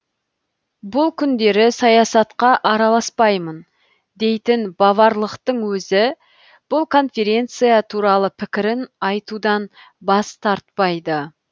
бұл күндері саясатқа араласпаймын дейтін баварлықтың өзі бұл конференция туралы пікірін айтудан бас тартпайды